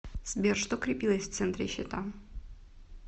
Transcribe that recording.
сбер что крепилось в центре щита